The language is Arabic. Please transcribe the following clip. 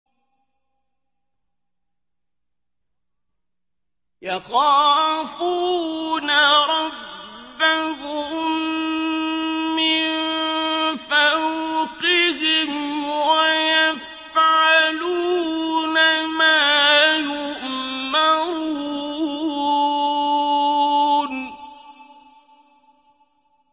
يَخَافُونَ رَبَّهُم مِّن فَوْقِهِمْ وَيَفْعَلُونَ مَا يُؤْمَرُونَ ۩